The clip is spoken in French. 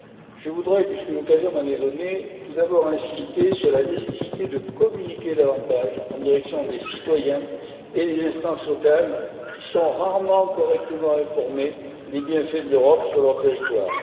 Je voudrais, puisque l'occasion m'en est donnée, insister tout d'abord sur la nécessité de communiquer davantage en direction des citoyens et des instances locales, qui sont rarement correctement informés des bienfaits de l'Europe sur leur territoire.